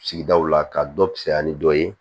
Sigidaw la ka dɔ caya ni dɔ ye